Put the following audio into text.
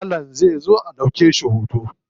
Malam zai zo a ɗauke shi hoto.